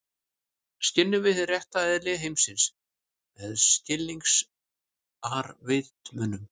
Skynjum við hið rétta eðli heimsins með skilningarvitunum?